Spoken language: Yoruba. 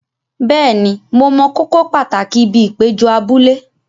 Bẹ́ẹ̀ni, mo mọ kókó pàtàkì ibi ìpéjọ abúlé.